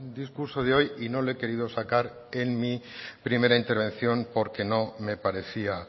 discurso de hoy y no le he querido sacar en mi primera intervención porque no me parecía